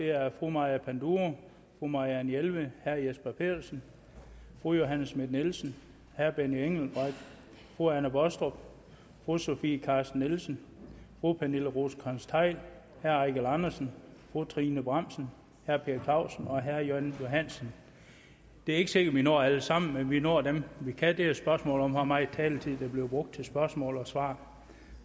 er fru maja panduro fru marianne jelved herre jesper petersen fru johanne schmidt nielsen herre benny engelbrecht fru anne baastrup fru sofie carsten nielsen fru pernille rosenkrantz theil herre eigil andersen fru trine bramsen herre per clausen og herre jan johansen det er ikke sikkert at vi når alle sammen men vi når dem vi kan det er jo et spørgsmål om hvor meget taletid der bliver brugt til spørgsmål og svar